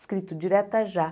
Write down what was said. Escrito diretas já.